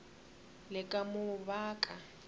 le ka mo ba ka